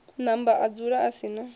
namba adzula a si na